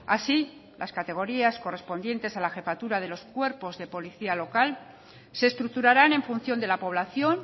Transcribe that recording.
así las categorías correspondientes a la jefatura de los cuerpos de policía local se estructuraran en función de la población